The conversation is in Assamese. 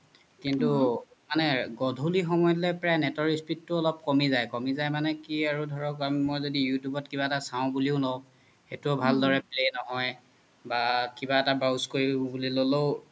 কিন্তু গোধুলি time লই net ৰ speed তু অলপ কমি জাই মানে কি আৰু ধৰক মই জদি youtube ত কিবা এতা চাও জদিও বুলি লও সেইতুও ভাল্দৰে play নহই বা কিবা এতা browse কৰিব ল'লেও